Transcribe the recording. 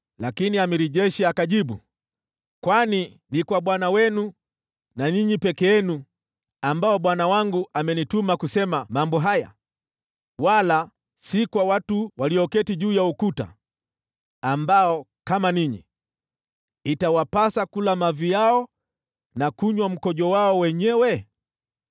Lakini yule jemadari wa jeshi akajibu, “Je, bwana wangu amenituma kutoa ujumbe huu kwa bwana wenu na kwenu tu? Je, hakunituma pia kwa watu walioketi ukutani, ambao, kama ninyi, itawabidi kula mavi yao na kunywa mikojo yao wenyewe?”